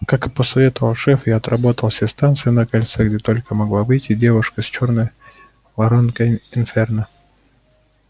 как и посоветовал шеф я отработал все станции на кольце где только могла выйти девушка с чёрной воронкой инферно